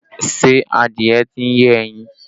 Ṣé adìẹ tí ń yé ẹyin?